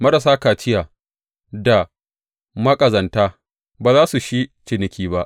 Marasa kaciya da maƙazanta ba za su shi cikinki ba.